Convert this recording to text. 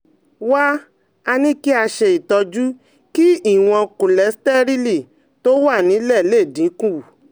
Wá a ní kí a ṣe itọju kí ìwọ̀n kóléstẹ́rẹ́lì tó wà nílẹ̀ lè dín kù